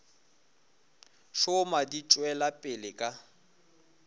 šoma di tšwela pele ka